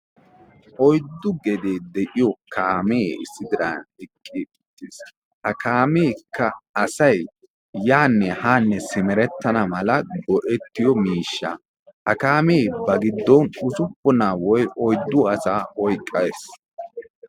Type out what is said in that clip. Oyddu gedee de'iyo kaamee issi diran eqqi uttiis. Ha kaameekka asay yaanne haanne simerettana mala go'ettiyo miishshaa. Ha kaamee ba giddon usuppuna woykko oyddu asaa oyqqees.